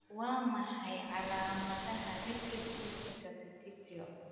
Waa maxay calaamadaha nephritis interstitial?